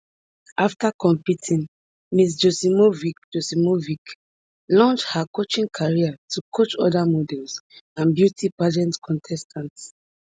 afta competing ms joksimovic joksimovic launch her coaching career to coach oda models and beauty pageant contestants